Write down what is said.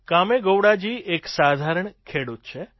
કામેગોવડાજી એક સાધારણ ખેડૂત છે